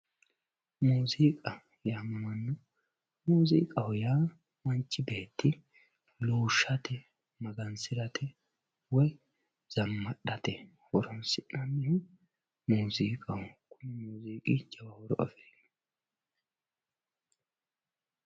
muuziiqa yaamamanno muuziiqaho yaa manchi beetti luushshate magansirate woy zammadhate horoonsi'nannihu mooziiqaho kuni muuziiqi jawa horo afirino